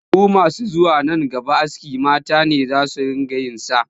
Shekaru masu zuwa nan gaba askin ma mata ne za su riƙa yin sa